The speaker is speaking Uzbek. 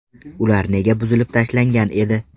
Ular nega buzib tashlangan edi?.